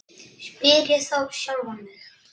spyr ég þá sjálfan mig.